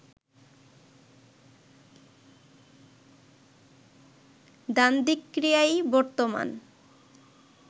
দ্বান্দ্বিক ক্রিয়াই বর্তমান